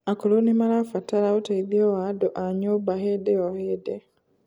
akũrũ nimarabatara ũteithio wa andu a nyumba hĩndĩ o hĩndĩ